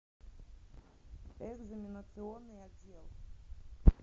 экзаменационный отдел